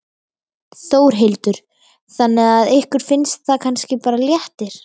Þórhildur: Þannig að ykkur finnst það kannski bara léttir?